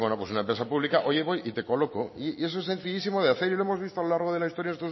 pues bueno pues una empresa pública oye voy y te coloco y eso es sencillísimo de hacer y lo hemos visto a lo largo de la historia